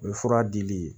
O ye fura dili ye